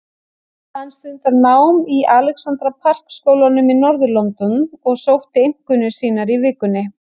Hann stundar nám í Alexandra Park skólanum í norður-London og sótti einkunnir sínar í vikunni.